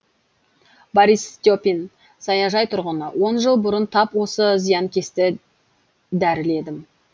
борис степин саяжай тұрғыны он жыл бұрын тап осы зиянкесті дәріледім